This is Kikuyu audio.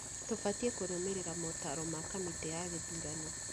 Tũbatiĩ kũrũmĩrĩra motaro ma kamĩtĩ ya gĩthurano